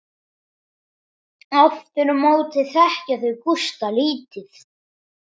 Aftur á móti þekkja þau Gústa lítið.